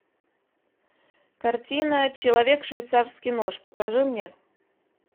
картина человек швейцарский нож покажи мне